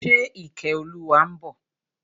Ṣe Ìkẹ́olúwa ń bọ̀?